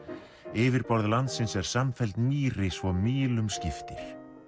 yfirborð landsins er samfelld mýri svo mílum skiptir